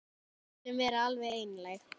Við skulum vera alveg einlæg.